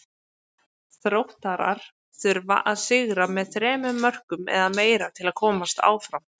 Þróttarar þurfa að sigra með þremur mörkum eða meira til að komast áfram.